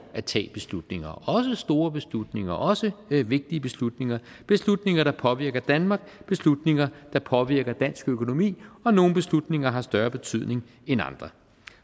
at tage beslutninger også store beslutninger også vigtige beslutninger beslutninger der påvirker danmark beslutninger der påvirker dansk økonomi og nogle beslutninger har større betydning end andre